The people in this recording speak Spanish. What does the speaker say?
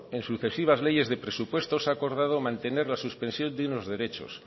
en sucesivas leyes de presupuestos ha acordado mantener la suspensión de unos derechos